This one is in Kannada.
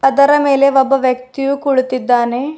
ಅದರ ಮೇಲೆ ಒಬ್ಬ ವ್ಯಕ್ತಿಯು ಕುಳಿತಿದ್ದಾನೆ.